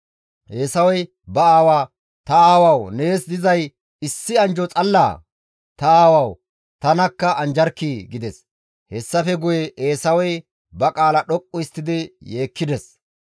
Eesawey ba aawaa, «Ta aawawu nees dizay issi anjjo xallaa? Ta aawawu! Tanakka anjjarkkii!» gides. Hessafe guye Eesawey ba qaala dhoqqu histtidi yeekkides.